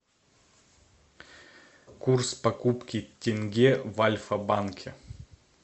курс покупки тенге в альфа банке